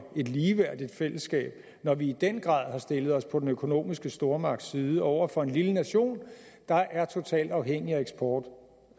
et ligeværdigt fællesskab når vi i den grad har stillet os på den økonomiske stormagts side over for en lille nation der er totalt afhængig af eksport